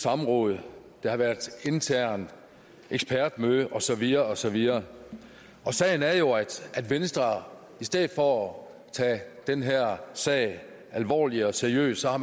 samråd der har været internt ekspertmøde og så videre og så videre og sagen er jo at venstre i stedet for at tage den her sag alvorligt og seriøst har